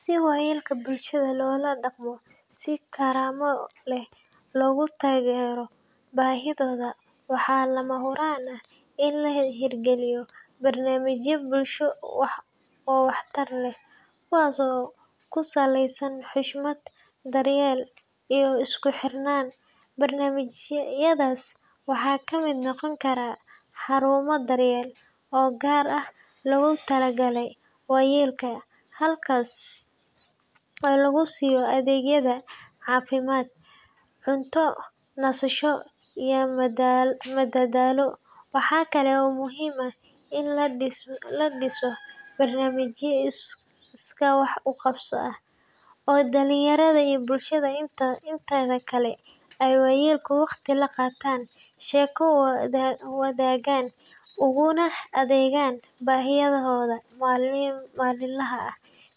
Si waayeelka bulshada loola dhaqmo si karaamo leh looguna taageero baahidooda, waxaa lama huraan ah in la hirgeliyo barnaamijyo bulsho oo waxtar leh kuwaas oo ku saleysan xushmad, daryeel, iyo isku xirnaan. Barnaamijyadaas waxaa ka mid noqon kara xarumo daryeel oo gaar ah loogu talagalay waayeelka, halkaas oo lagu siiyo adeegyada caafimaad, cunto, nasasho, iyo madadaalo. Waxaa kale oo muhiim ah in la dhiso barnaamijyo iskaa wax u qabso ah (tabarucaad) oo dhalinyarada iyo bulshada inteeda kale ay waayeelka waqti la qaataan, sheeko la wadaagaan, uguna adeegaan baahiyahooda maalinlaha ah.